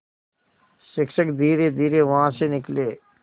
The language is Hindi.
शिक्षक धीरेधीरे वहाँ से निकले